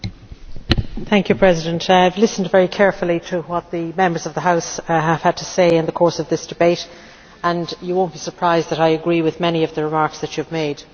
Madam President, I have listened very carefully to what the Members of the House have had to say in the course of this debate, and you will not be surprised to hear that I agree with many of the remarks that you have made.